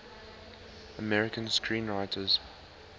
american screenwriters